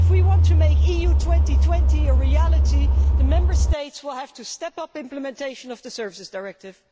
If we want to make EU 2020 a reality, the Member States will have to step up implementation of the Services Directive.